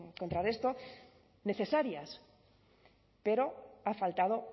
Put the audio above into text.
contrarresto necesarias pero ha faltado